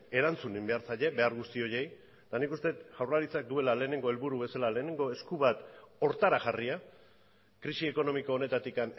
erantzun behar zaie behar guzti horiei eta nik uste dut jaurlaritzak duela lehenengo helburu bezala lehenengo esku bat horretara jarria krisi ekonomiko honetatik